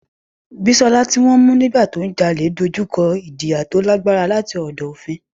Bisola, tí wọ́n mú nígbà tí ó ń jalè, dojú kọ ìjìyà tó lágbára láti ọ̀dọ̀ òfin.